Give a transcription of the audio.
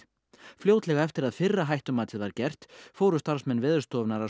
fljótlega eftir að fyrra hættumatið var gert fóru starfsmenn Veðurstofunnar að